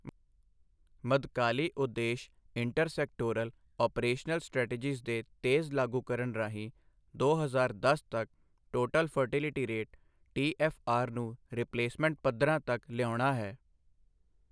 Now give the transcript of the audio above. ਮੱਧਕਾਲੀ ਉਦੇਸ਼ inter sectoral operational strategies ਦੇ ਤੇਜ਼ ਲਾਗੂਕਰਣ ਰਾਹੀਂ ਦੋ ਹਜ਼ਾਰ ਦਸ ਤੱਕ ਟੋਟਲ ਫਰਟਿਲਿਟੀ ਰੇਟ ਟੀ.ਐਫ.ਆਰ. ਨੂੰ ਰਿਪਲੇਸਮੈਂਟ ਪੱਧਰਾਂ ਤੱਕ ਲਿਆਉਣਾ ਹੈ।